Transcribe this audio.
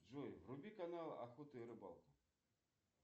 джой вруби канал охота и рыбалка